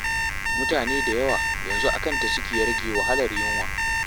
Mutane da yawa yanzu a kanta suke rage wahalar yunwa.